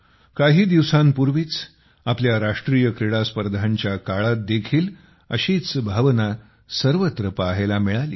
काही दिवसांपूर्वीच आपल्या राष्ट्रीय क्रीडास्पर्धांच्या काळात देखील अशीच भावना सर्वत्र पाहायला मिळाली